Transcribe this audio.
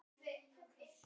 Góða nótt, Thomas